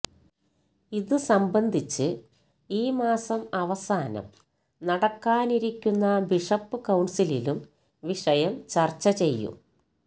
ഇത് സംബ്നധിച്ച് ഈ മാസം അവസാനം നടക്കാനിരിക്കുന്ന ബിഷപ്പ് കൌണ്സിലിലും വിഷയം ചര്ച്ച ചെയ്യും